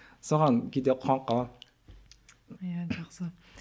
соған кейде қуанып қаламын иә жақсы